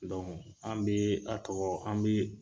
an bɛ a tɔ an bɛ